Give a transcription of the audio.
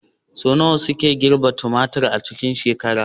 Sau nawa suke girbi tumatir a cikin shekara?